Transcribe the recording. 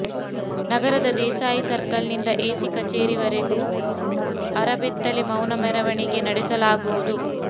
ನಗರದ ದೇಸಾಯಿ ಸರ್ಕಲ್ನಿಂದ ಎಸಿ ಕಚೇರಿ ವರೆಗೆ ಅರಬೆತ್ತಲೆ ಮೌನ ಮೇರವಣಿಗೆ ನಡೆಸಲಾಗುವುದು